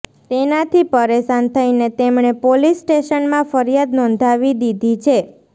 તેનાથી પરેશાન થઇને તેમણે પોલીસ સ્ટેશનમાં ફરિયાદ નોંધાવી દીધી છે